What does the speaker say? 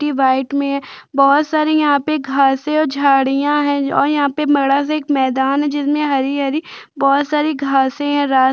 सिलेटी व्हाइट में है बोहोत सारी यहाँ पे घासें और झाडियाँ है और यहाँ पे बड़ा -सा एक मैदान है जिसमें बोहोत सारी हरी- हरी घासे हैं।